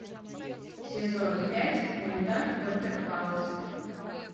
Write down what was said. сезон пять мульта доктор хаус